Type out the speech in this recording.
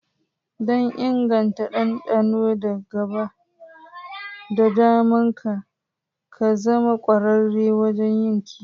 Don inganta dandano da gabatar da naman ka, ka zama ƙwararre wajen yin kiwo.